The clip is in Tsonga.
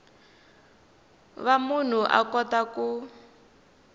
va munhu a kota ku